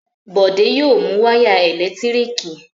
Bọ̀dé yóò mu wáyà ẹ̀lẹ́tíríkì